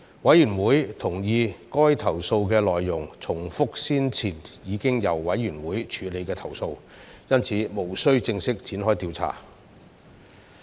委員會同意該投訴的內容重複了先前已經由委員會處理的投訴，因此，無須正式展開調查。